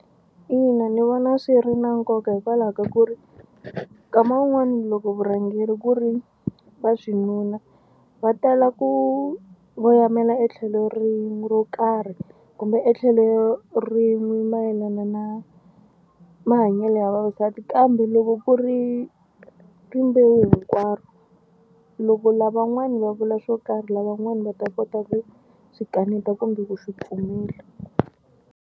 Ina ni vona swi ri na nkoka hikwalaho ka ku ri nkama wun'wani loko vurhangeri ku ri vaxinuna va tala ku voyamela etlhelo rin'we ro karhi kumbe etlhelo rin'we mayelana na mahanyelo ya vavasati kambe loko ku ri rimbewu hinkwaro loko lavan'wana va vula swo karhi lavan'wana va ta kota ku swi kaneta kumbe ku swi pfumela.